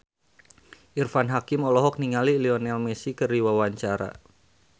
Irfan Hakim olohok ningali Lionel Messi keur diwawancara